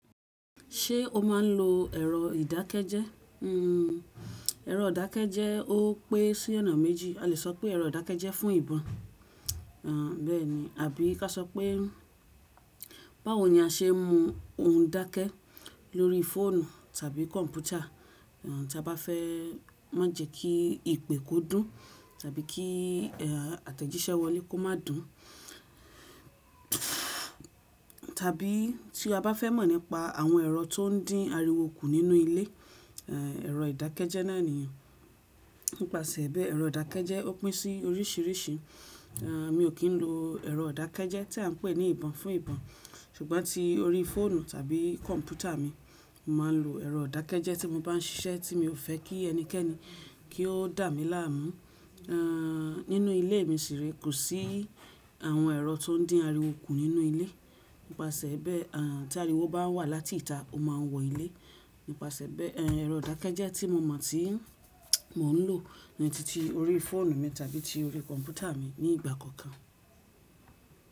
Ṣé o máa ń lo ẹ̀rọ ìdákẹ́jẹ́? Hmm ẹ̀rọ ìdákẹ́jẹ́ ó pẹ́ sí ọ̀nà méjì, a lè sọ pé ẹ̀rọ ìdákẹ́jẹ́ fún ìbọn. Àn bẹ́ẹ̀ni, àbí kí a sọ pé báwo ni a ṣe mú ohun dákẹ́ lórí fóònù tàbí kọ̀mpútà tí a bá fẹ́ má jẹ kí ìpè kó dún tàbí kí àtẹ̀jíṣẹ́ wọn ní kó má dùn. Tàbí tí a bá fẹ́ mọ̀ nípa àwọn ẹ̀rọ tó ń dín ariwo kù nínú ilé, ẹ̀rọ ìdákẹ́jẹ́ náà nìyẹn. Nípasẹ̀ bẹ́ẹ̀ ẹ̀rọ ìdákẹ́jẹ́ ó pẹ́ sí oríṣìíríṣìí. Mi ò kí ń lo ẹ̀rọ ìdákẹ́jẹ́ tí à ń pè ní ìbọn fún ìbọn, ṣùgbọ́n tí orí fóònù tàbí kọ̀mpútà mi, màá lo ẹ̀rọ ìdákẹ́jẹ́ tí mo bá ń ṣiṣẹ́ tí mi ò fẹ́ kí ẹnikẹ́ni kí ó dà mí láàmú. Nínú ilé mi sì rí kò sí àwọn ẹ̀rọ tó ń dín ariwo kù nínú ilé. Nípasẹ̀ bẹ́ẹ̀ àn tí ariwo bá wá láti ìta, ó máa wọ ilé. Nípasẹ̀ bẹ́ẹ̀ ẹ̀rọ ìdákẹ́jẹ́ tí mo mọ̀ tí mò ń lò ni titi orí fóònù mi tàbí ti orí kọ̀mpútà mi nígbà kọ̀ọ̀kan.